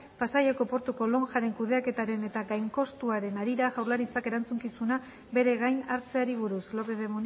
pasaiako portuko lonjaren kudeaketaren eta gainkostuaren harira jaurlaritzak erantzukizuna bere gain hartzeari buruz lópez de